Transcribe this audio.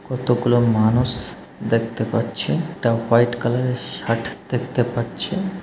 কতগুলো মানুষ দেখতে পাচ্ছে তা হোয়াইট কালারের শার্ট দেখতে পাচ্ছে।